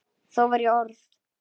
Þá var ég orð